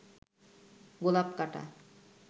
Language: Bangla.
গোলাপ কাঁটা